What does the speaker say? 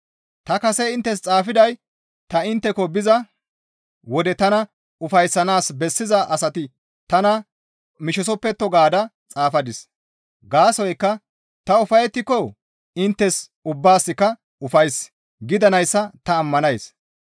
Ta kase inttes xaafiday ta intteko biza wode tana ufayssanaas bessiza asati tana mishisoppetto gaada xaafadis; gaasoykka ta ufayettiko inttes ubbaasikka ufays gidanayssa ta ammanays.